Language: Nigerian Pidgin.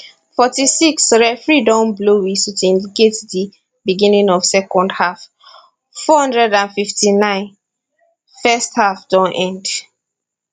46 referee don blow whistle to indicate di beginning of second half 459 first half don end